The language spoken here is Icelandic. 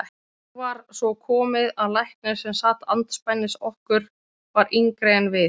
Og nú var svo komið að læknirinn sem sat andspænis okkur var yngri en við.